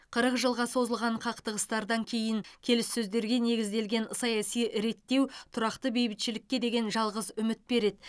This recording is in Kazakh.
қырық жылға созылған қақтығыстардан кейін келіссөздерге негізделген саяси реттеу тұрақты бейбітшілікке деген жалғыз үміт береді